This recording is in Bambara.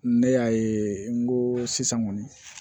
Ne y'a ye n ko sisan kɔni